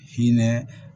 Hinɛ